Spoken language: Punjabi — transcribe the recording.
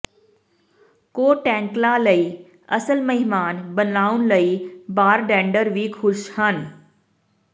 ਕੋਟੈਕਲਾਂ ਲਈ ਅਸਲ ਮਹਿਮਾਨ ਬਣਾਉਣ ਲਈ ਬਾਰੰਡੇਡਰ ਵੀ ਖੁਸ਼ ਹਨ